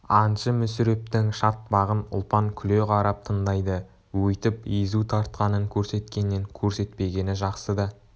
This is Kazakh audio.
аңшы мүсірептің шатпағын ұлпан күле қарап тыңдайды өйтіп езу тартқанын көрсеткеннен көрсетпегені жақсы да